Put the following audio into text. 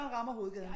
Man rammer hovedgaden